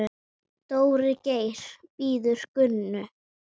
Dóri Geir bíður Gunnu.